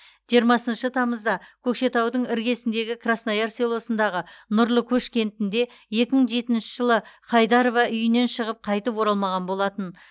жиырмасыншы тамызда көкшетаудың іргіесіндегі краснояр селосындағы нұрлы көш кентінде екі мың жетінші жылғы хайдарова үйінен шығып қайтып оралмаған болатын